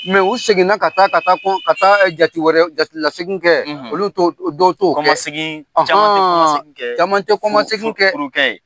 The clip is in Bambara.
ɛ u seginna ka taa ka taa ka taa ka taa jati wɛrɛ, ka taa jatilasegin kɛ olu t'o dɔw to kɔmasegin caman tɛ kɔmasegin kɛ, caman tɛ kɔmasegin kɛ, furu kɛ ye.